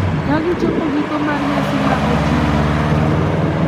Kagichopo giko mar nyasi ma oting’o .